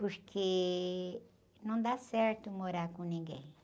Porque não dá certo morar com ninguém.